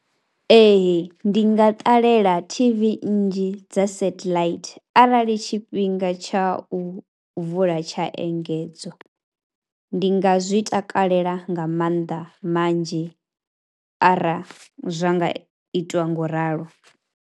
Ee ndi nga ṱalela T_V nnzhi dza setheḽaithi arali tshifhinga tsha u vula tsha engedzwa, ndi nga zwi takalela nga manḓa manzhi arali zwa nga itiwa ngauralo.